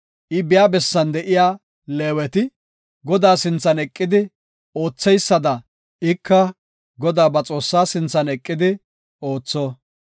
I biya bessan de7iya Leeweti Godaa sinthan eqidi ootheysada ika Godaa ba Xoossaa sinthan eqidi ootho.